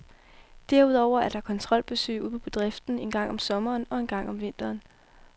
Derudover er der kontrolbesøg ude på bedriften en gang om sommeren og en gang om vinteren.